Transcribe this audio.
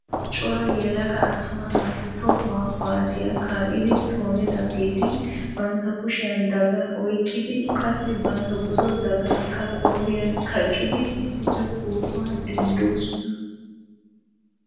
Cora yelaga attuma naati tohuwaa kuwaassiya kaa'idi toonidaageeti bantta kushiyaan daaga oyqqidi qassi bantta buzzo daagakka qooriyaan kaqqidi issippe pootuwaa denddoosona.